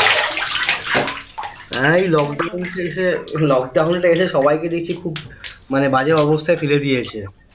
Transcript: এই lockdown টি এসে lockdown টা এসে সবাইকে দেখছি খুব মানে বাজে অবস্থায় ফেলে দিয়েছে